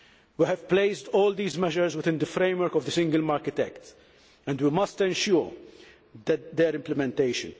We have placed all these measures within the framework of the Single Market Act and we must ensure their implementation.